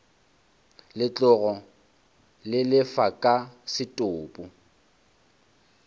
legotlo le lefa ka setopo